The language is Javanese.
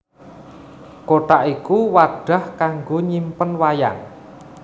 Kothak iku wadah kanggo nyimpen wayang